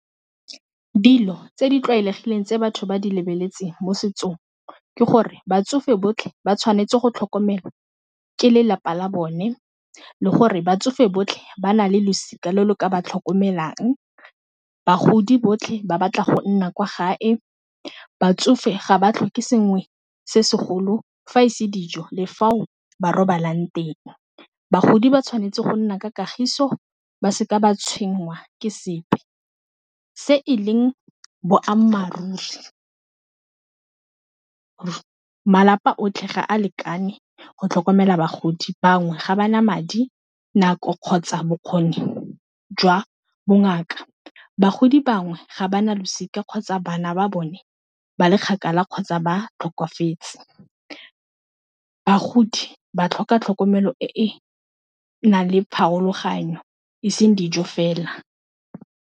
Dilo tse di tlwaelegileng tse batho ba di lebeletseng mo setsong ke gore batsofe botlhe ba tshwanetse go tlhokomelwa ke lelapa la bone le gore batsofe botlhe ba na le losika le le ka ba tlhokomelang, bagodi botlhe ba batla go nna kwa gae, batsofe ga ba tlhoke sengwe se segolo fa e se dijo le fao ba robalang teng. Bagodi ba tshwanetse go nna ka kagiso ba se ka ba tshwenngwa ke sepe, se e leng boammaaruri malapa otlhe ga a lekane go tlhokomela bagodi, bangwe ga ba na madi, nako kgotsa bokgoni jwa bongaka. Bagodi bangwe ga ba na losika kgotsa bana ba bone ba le kgakala kgotsa ba tlhokafetse bagodi ba tlhoka tlhokomelo e e nang le pharologanyo e seng dijo fela.